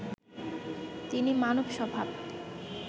তিনি মানব স্বভাব